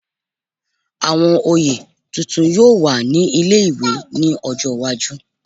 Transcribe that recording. Àwọn oyè tuntun yóò wà ní ilé-ìwé ní ọjọ́ iwájú